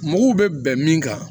Mugu bɛ bɛn min kan